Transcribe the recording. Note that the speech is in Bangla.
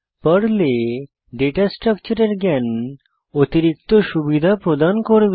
পর্লে ডেটা স্ট্রাকচারের জ্ঞান অতিরিক্ত সুবিধা প্রদান করবে